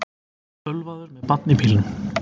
Ölvaður með barn í bílnum